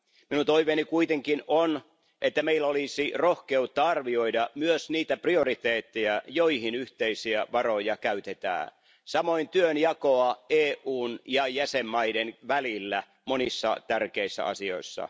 Minun toiveeni kuitenkin on, että meillä olisi rohkeutta arvioida myös niitä prioriteetteja, joihin yhteisiä varoja käytetään, samoin kuin työnjakoa EUn ja jäsenvaltioiden välillä monissa tärkeissä asioissa.